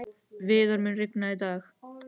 Viðar, mun rigna í dag?